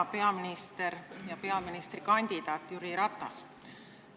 Hea peaminister ja peaministrikandidaat Jüri Ratas!